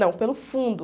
Não, pelo fundo.